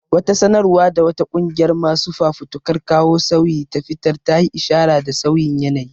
Wata sanarwa da wata ƙungiyar masu fafutukar kawo sauyi ta fitar ta yi ishara da sauyin yanayi.